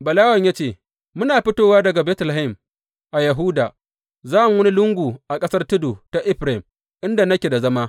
Balawen ya ce, Muna fito daga Betlehem a Yahuda za mu wani lungu a ƙasar tudu ta Efraim inda nake da zama.